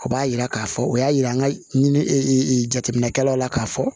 O b'a yira k'a fɔ o y'a yira ka ɲini e jateminɛkɛlaw la k'a fɔ